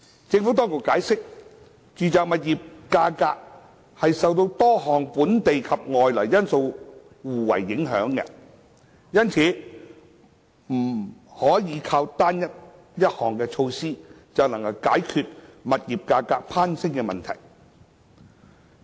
政府當局解釋，住宅物業價格受多項本地及外來因素互為影響，因此不可單靠一項措施，便能解決物業價格攀升的問題。